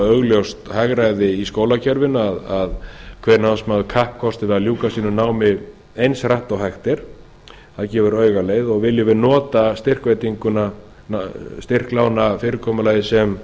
augljóst hagræði í skólakerfinu að hver námsmaður kappkosti við að ljúka sínu námi eins hratt og hægt er það gefur auga leið og viljum við nota styrklánafyrirkomulagið sem